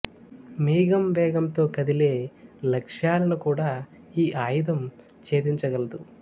మీగం వేగంతో కదిలే లక్ష్యాలను కూడా ఈ అయుధం ఛేదించ గలదు